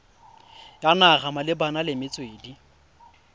ya naga malebana le metswedi